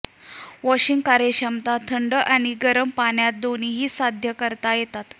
washing कार्यक्षमता थंड आणि गरम पाण्यात दोन्ही साध्य करता येतात